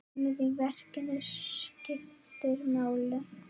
Rýmið í verkinu skiptir máli.